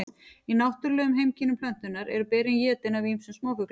í náttúrulegum heimkynnum plöntunnar eru berin étin af ýmsum smáfuglum